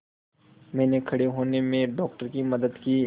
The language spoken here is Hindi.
मैंने खड़े होने में डॉक्टर की मदद की